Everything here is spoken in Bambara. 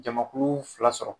Jamakulu fila sɔrɔ